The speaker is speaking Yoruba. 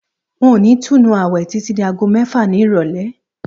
N ò ní túnu àwè̩ títí di aago mé̩fà ní ìrò̩lé̩